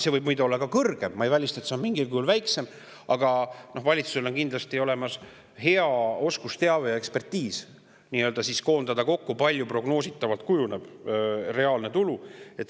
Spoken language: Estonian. See võib olla ka suurem ja ma ei välista, et see on mingil kujul väiksem, aga valitsusel on kindlasti olemas hea oskusteave ja ekspertiis, et koondada kokku prognoosida, kui suureks kujuneb reaalne tulu.